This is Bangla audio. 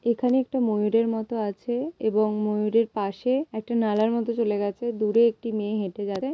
এখানে একটা ময়ূরের মতো আছে এবং ময়ূরের পাশে একটা নালার মতো চলে গেছে দূরে একটি মেয়ে হেঁটে যাচ্ছে।